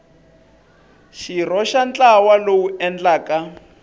xirho xa ntlawa lowu endlaka